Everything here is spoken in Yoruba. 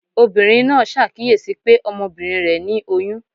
obírín naa sàkiyesí pe Ọmọbinrin re ni oyún.